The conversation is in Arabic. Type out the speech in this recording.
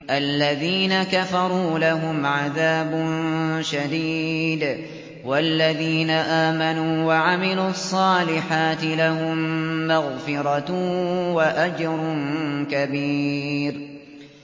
الَّذِينَ كَفَرُوا لَهُمْ عَذَابٌ شَدِيدٌ ۖ وَالَّذِينَ آمَنُوا وَعَمِلُوا الصَّالِحَاتِ لَهُم مَّغْفِرَةٌ وَأَجْرٌ كَبِيرٌ